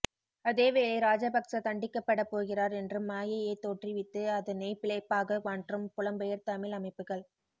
அதேவேளை ராஜபச்க தண்டிக்கப்படப் போகிறார் என்ற மாயையைத் தோற்றுவித்து அதனைப் பிழைப்பாக மாற்றும் புலம்பெயர் தமிழ் அமைப்புக்கள்